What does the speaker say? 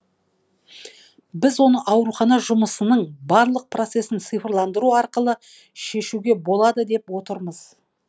біз оны аурухана жұмысының барлық процесін цифрландыру арқылы шешуге болады деп отырмыз